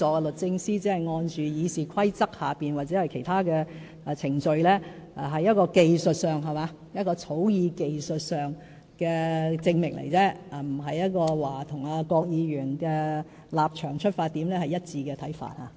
律政司只是按《議事規則》或其他程序行事，是在技術上的草擬證明，並不表示與郭議員的立場和出發點有一致看法。